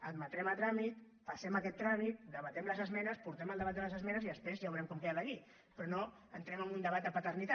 admetem a tràmit passem aquest tràmit debatem les esmenes portem el debat de les esmenes i després ja veurem com queda la llei però no entrem en un debat de paternitat